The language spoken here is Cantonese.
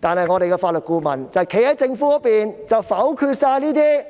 然而，立法會法律顧問否決所有這些